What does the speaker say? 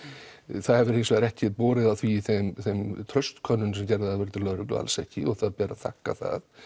það hefur hins vegar ekki borið á því í þeim þeim traust könnunum sem gerðar hafa verið til lögreglu alls ekki það ber að þakka það